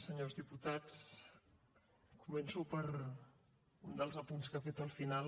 senyors diputats començo per un dels apunts que ha fet al final